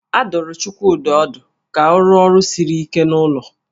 A dụrụ Chukwudị ọdụ ka ọ rụọ ọrụ siri ike n'ụlọ